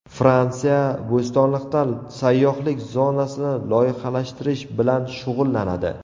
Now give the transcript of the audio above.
Fransiya Bo‘stonliqda sayyohlik zonasini loyihalashtirish bilan shug‘ullanadi.